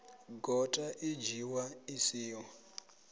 gota i dzhiiwa i siho